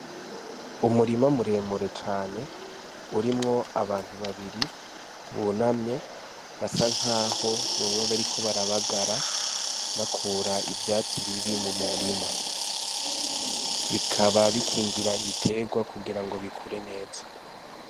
Umurima muremure cane urimwo abantu babiri bunamye basa nk'aho boba b, ariko barabagara bakura ivyatsi bibi mu murima bikaba bikingira ibiterwa kugira ngo bikure neza.